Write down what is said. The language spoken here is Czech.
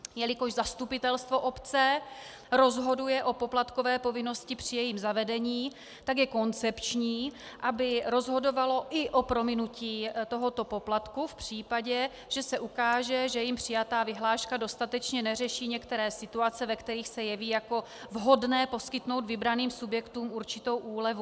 Jelikož zastupitelstvo obce rozhoduje o poplatkové povinnosti při jejím zavedení, tak je koncepční, aby rozhodovalo i o prominutí tohoto poplatku v případě, že se ukáže, že jím přijatá vyhláška dostatečně neřeší některé situace, ve kterých se jeví jako vhodné poskytnout vybraným subjektům určitou úlevu.